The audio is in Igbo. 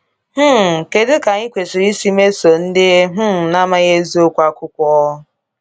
um Kedu ka anyị kwesịrị isi mesoo ndị um na-amaghị eziokwu akwụkwọ?